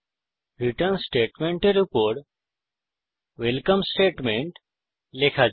return স্টেটমেন্টের উপর welcome statement লেখা যাক